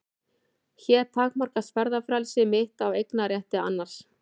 Hér takmarkast ferðafrelsi mitt af eignarétti annars.